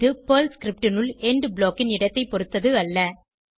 இது Perl script னுள் end block ன் இடத்தை பொருத்தது அல்ல